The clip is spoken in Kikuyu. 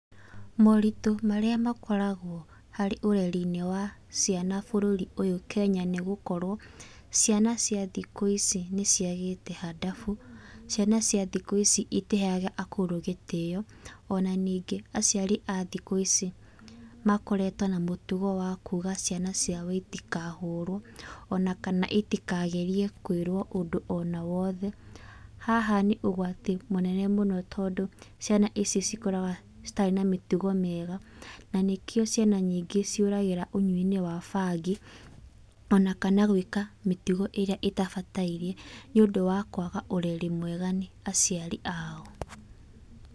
Moritũ marĩa makoragwo harĩ ũrerinĩ wa ciana bũrũri ũyũ Kenya nĩ gũkorwo, ciana cia thikũ ici nĩ ciagĩte hadabu. Ciana cia thikũ ici itiheaga akũrũ gĩtĩo. Ona ningĩ aciari a thikũ ici makoretwo na mũtugo wa kuga ciana ciao itikahũrwo, ona kana itikagerie kwĩrwo ũndũ ona o wothe. Haha nĩ ũgwati mũnene mũno tondũ ciana ici cikũraga itarĩ na mĩtugo mĩega na nĩkĩo ciana nyingĩ ciũragĩra ũnyuinĩ wa bangi, ona kana gwĩka mĩtugo ĩrĩa ĩtabataĩriĩ, nĩũndũ wa kwaga ũreri mwega nĩ aciari ao.